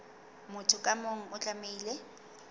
motho ka mong o tlamehile